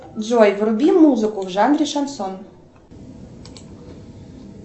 джой вруби музыку в жанре шансон